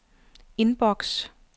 inbox